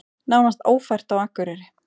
Nánast ófært á Akureyri